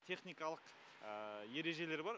техникалық ережелер бар